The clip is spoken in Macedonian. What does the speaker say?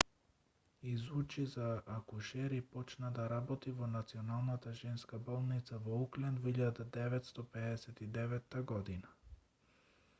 изучи за акушер и почна да работи во националната женска болница во окланд во 1959 г